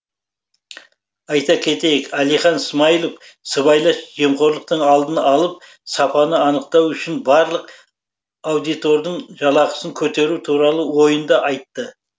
айта кетейік әлихан смайылов сыбайлас жемқорлықтың алдын алып сапаны анықтау үшін барлық аудитордың жалақысын көтеру туралы ойын да айтты